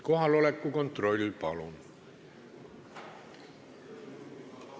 Kohaloleku kontroll, palun!